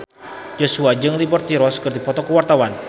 Joshua jeung Liberty Ross keur dipoto ku wartawan